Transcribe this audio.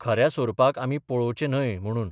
खऱ्या सोरपाक आमी पळोवचें न्हय म्हणून.